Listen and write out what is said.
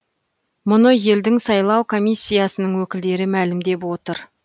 мұны елдің сайлау комиссиясының өкілдері мәлімдеп отыр